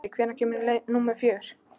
Unnsi, hvenær kemur leið númer fjögur?